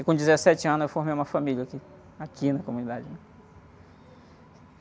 Eu, com dezessete anos, eu formei uma família aqui, aqui na comunidade, né?